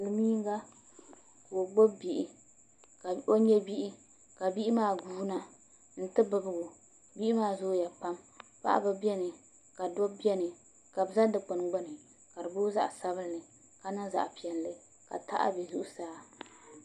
Silmiinga ka o nyɛ bihi ka bihi maa guuna n ti bibgo bihi maa zooya pam paɣaba biɛni ka dabba biɛni ka bi ʒɛ dikpuni gbuni ka di booi zaɣ sabinli ka niŋ zaɣ piɛlli ka taha bɛ zuɣusaa